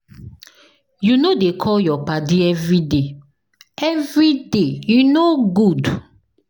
You no dey call your paddy everyday, everyday, e no good.